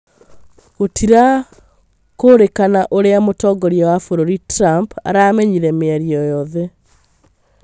Gũtirakũrikana ũrĩa mũtongoria wa bũrũri Trump aramenyire mĩario ĩyo yothe